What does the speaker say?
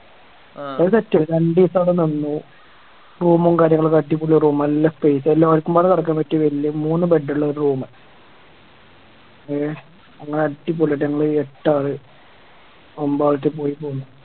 അത് Set രണ്ടുസം അവിടെ നിന്നു Room ഉം കാര്യങ്ങളൊക്കെ അടിപൊളി Room നല്ല Space എല്ലാർക്കുംപാടെ കെടക്കാൻ പറ്റിയ വല്യ മൂന്ന് Bed ഇള്ള ഒര് Room എ അങ്ങനെ അടിപൊളിയായിട്ട് ഞങ്ങള് എട്ടാള് ഒമ്പതാളറ്റം പോയിറ്റ് വന്നു